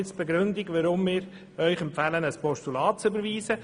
Nun zum Grund, warum wir Ihnen empfehlen, ein Postulat zu überweisen: